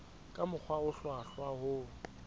ka mokgwa o hlwahlwa ho